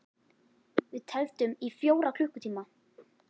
Við tefldum í fjóra klukkutíma!